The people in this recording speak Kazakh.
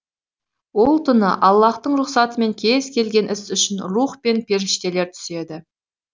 ол түні аллаһтың рұқсатымен кез келген іс үшін рух пен періштелер түседі